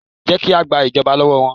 Jẹ́ ki a gba ìjọba lọ́wọ́ wọn